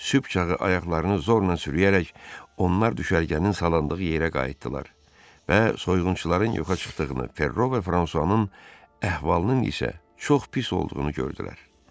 Sübh çağı ayaqlarını zorla sürüyərək onlar düşərgənin salandığı yerə qayıtdılar və soyğunçuların yoxa çıxdığını, Ferro və Fransuanın əhvalının isə çox pis olduğunu gördülər.